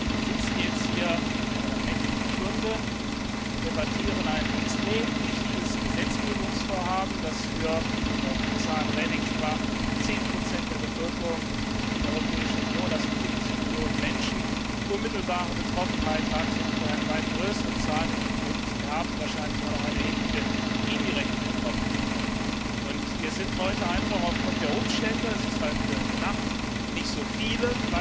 Wir sitzen jetzt hier in einer nächtlichen Stunde und debattieren ein extrem wichtiges Gesetzgebungsvorhaben, von dem laut Frau Kommissarin Reding zehn Prozent der Bürger der Europäischen Union, das sind fünfzig Millionen Menschen, unmittelbar betroffen sind und von dem eine weit größere Zahl, nämlich die möglichen Erben, wahrscheinlich auch noch in erheblichem Maße indirekt betroffen sind, und wir sind heute einfach aufgrund der Umstände, es ist halt wieder in der Nacht, nicht so viele.